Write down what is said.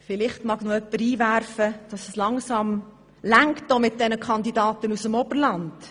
Vielleicht mag noch jemand einwenden, es reiche nun langsam mit den Kandidaten aus dem Oberland.